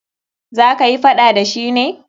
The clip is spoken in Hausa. Za kayi faɗa da shi ne?